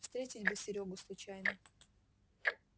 встретить бы серёгу случайно